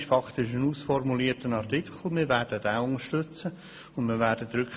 Beim Antrag zu Artikel 15 handelt es sich faktisch um einen ausformulierten Artikel.